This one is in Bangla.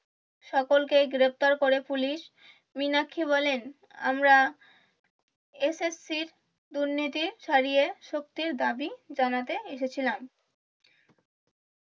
সকলকেই গ্রেফতার করে পুলিশ মীনাক্ষী বলেন আমরা SSC দুর্নীতি ছাড়িয়ে শক্তির দাবি জানাতে এসেছিলাম।